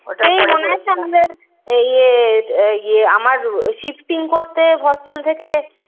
সেই মনে আছে? আমাদের ইয়ে ইয়ে আমার shifting করতে hostel থেকে